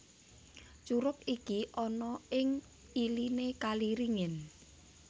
Curug iki ana ing iliné kali ringin